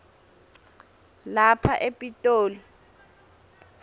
lapha e pitoli